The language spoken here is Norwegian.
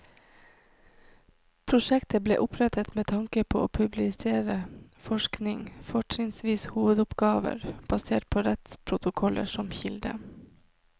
Prosjektet ble opprettet med tanke på å publisere forskning, fortrinnsvis hovedoppgaver, basert på rettsprotokoller som kilde.